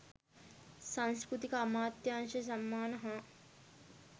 සංස්කෘතික අමාත්‍යාංශ සම්මාන හා